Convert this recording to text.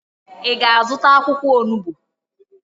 Ị ga-azụta akwụkwọ onubo?